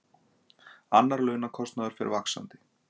Annar launakostnaður fer vaxandi